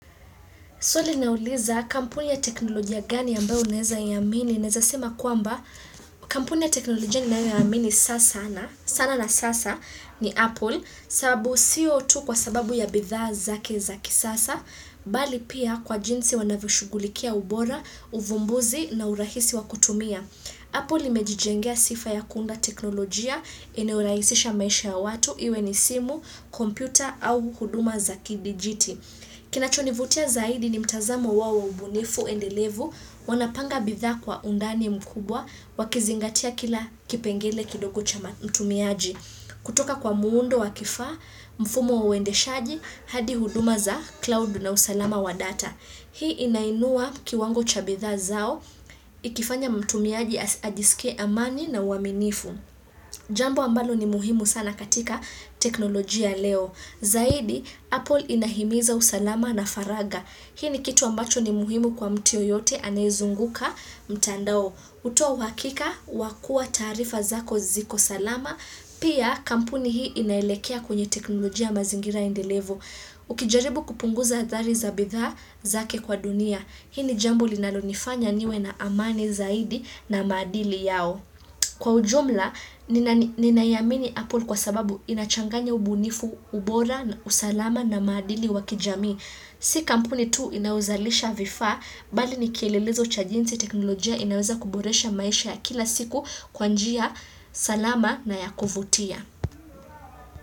Swali nauliza kampuni ya teknolojia gani ambayo unaweza iamini. Neza sema kwamba kampuni ya teknolojia niyoamini sana na sasa ni Apple sababu sio tu kwa sababu ya bidhaa zake za kisasa, bali pia kwa jinsi wanavyoshugulikia ubora, uvumbuzi na urahisi wakutumia. Apple imejijengea sifa ya kuunda teknolojia, inayorahisisha maisha ya watu, iwe ni simu, kompyuta au huduma za kidijiti. Kinacho nivutia zaidi ni mtazamo wao ubunifu endelevu, wanapanga bidhaa kwa undani mkubwa, wakizingatia kila kipengele kidogo cha mtumiaji. Kutoka kwa muundo wa kifaa, mfumo wa uendeshaji, hadi huduma za cloud na usalama wa data. Hii inainua kiwango cha bidhaa zao, ikifanya mtumiaji ajisikie amani na uaminifu. Jambo ambalo ni muhimu sana katika teknolojia leo. Zaidi, Apple inahimiza usalama na faraga. Hii ni kitu ambacho ni muhimu kwa mtu yeyote anayezunguka mtandao. Hutoa wakika, wakua taarifa zako ziko salama, pia kampuni hii inaelekea kwenye teknolojia mazingira endelevu Ukijaribu kupunguza hathari za bidhaa zake kwa dunia. Hili jambo linalonifanya niwe na amani zaidi na maadili yao. Kwa ujumla ninaiamini Apple kwa sababu inachanganya ubunifu, ubora, usalama na maadili wakijami. Si kampuni tu inauzalisha vifaa bali nikielelezo cha jinsi teknolojia inaweza kuboresha maisha ya kila siku kwa njia salama na ya kuvutia.